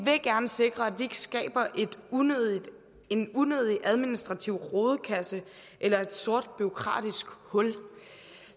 gerne sikre at vi ikke skaber en unødig en unødig administrativ rodekasse eller et sort bureaukratisk hul